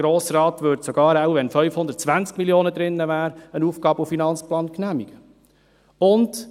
Der Grosse Rat würde wahrscheinlich den AFP auch genehmigen, wenn 520 Mio. Franken darin stünden.